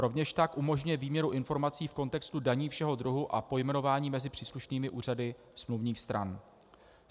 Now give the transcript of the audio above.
Rovněž tak umožňuje výměnu informací v kontextu daní všeho druhu a pojmenování mezi příslušnými úřady smluvních stran.